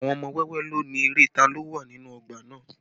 Àwọn ọmọ wẹ́wẹ́ ló ni eré ta lo wà nínú ọgbà náà